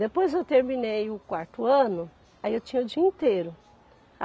Depois eu terminei o quarto ano, aí eu tinha o dia inteiro.